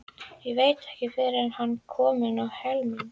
Veit ekki fyrr en hann er kominn á Hlemm.